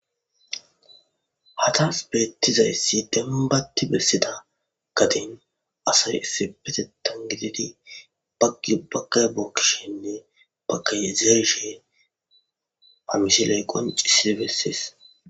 hatas beettizayssi demm baatti bessida gadin asay isse peteton gididi baggi baggay bookkishinne bakayezeshe hamushe lay qon cissi bessees